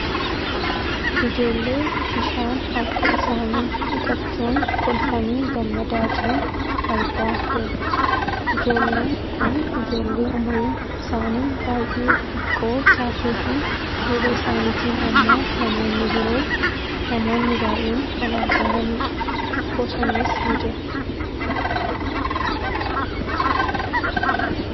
Ijoollee bishaan harka isaanii dhiqachuun kolfanii gammadaa jiran argaa jirra. Ijoolleen kun ijoollee umuriin isaanii bay'ee xixiqqoo taateefi duuba isaaniitiin ammoo namoonni biroo namoonni bay'een kan argamanii dha. Bosonnis ni jira.